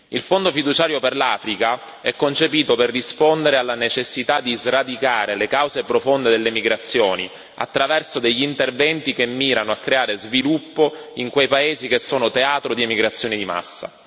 Il Fondo fiduciario per l'Africa è concepito per rispondere alla necessità di sradicare le cause profonde delle migrazioni attraverso degli interventi che mirano a creare sviluppo in quei paesi che sono teatro di emigrazioni di massa.